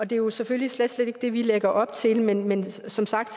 det er jo selvfølgelig slet slet ikke det vi lægger op til men men som sagt